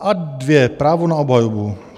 Ad 2 - právo na obhajobu.